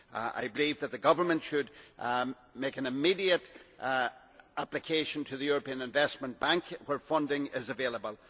I believe that the government should make an immediate application to the European Investment Bank, where funding is available.